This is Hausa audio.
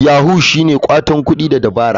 Yahoo shine watan kuɗi da dabara..